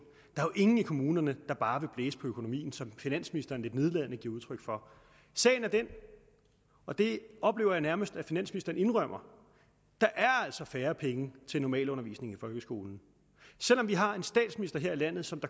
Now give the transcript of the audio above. der er ingen i kommunerne der bare vil blæse på økonomien som finansministeren lidt nedladende giver udtryk for sagen er den og det oplever jeg nærmest at finansministeren indrømmer at der altså er færre penge til normalundervisning i folkeskolen selv om vi har en statsminister her i landet som